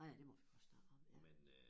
Nåh ja det må vi godt snakke om ja